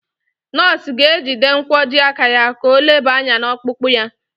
Nọọsụ ga-ejide nkwojiaka ya ka o leba anya n'ọkpụkpụ ya.